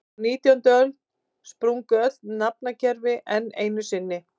Á nítjándu öld sprungu öll nafnakerfi enn einu sinni.